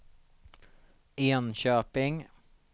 Enköping